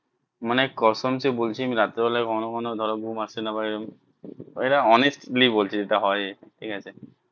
মানে কসম সে বলছি আমি রাত্রি বেলায় কখনো কখনো ধরো ঘুম আসে না বা এটা honestly বলছি যেটা হয় ঠিক আছে